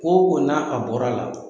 Ko ko na a bɔra la,